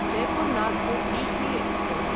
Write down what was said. Jaipur Nagpur weekly express